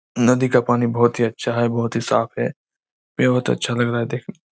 नदी का पानी बहोत ही अच्छा है बहोत ही साफ़ है बहोत अच्छा लग रहा है देखने में--